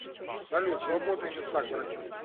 салют свободные места к врачу